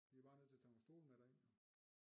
Vi er bare nødt til at tage nogle stole med derind jo